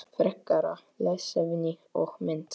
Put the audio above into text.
Frekara lesefni og mynd